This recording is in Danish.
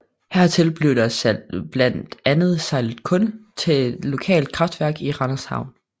Hertil bliver der blandt andet sejlet kul til et lokalt kraftværk i Randers Havn